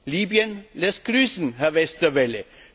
Libyen lässt grüßen, Herr Westerwelle.